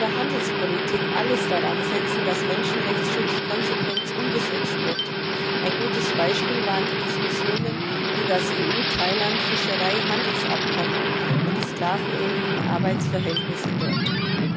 sein. Die EU muss in ihrer Handelspolitik alles daransetzen, dass Menschenrechtsschutz konsequent umgesetzt wird. Ein gutes Beispiel waren die Diskussionen über das Fischereihandelsabkommen EU Thailand und die sklavenähnlichen Arbeitsverhältnisse in